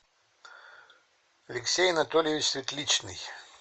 алексей анатольевич светличный